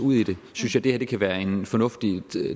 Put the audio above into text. ud i det synes jeg det her kan være en fornuftig